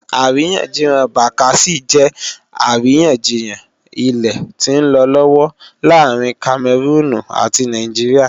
Àríyànjiyàn Bakassi jẹ́ àríyànjiyàn ilẹ̀ tí ń lọ lọ́wọ́ láàrin Kamẹrúùnù ati Nàìjíríà